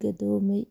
gadoomay.